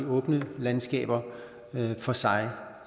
åbne landskaber for sig